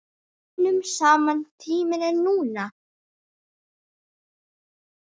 Vinnum saman Tíminn er núna.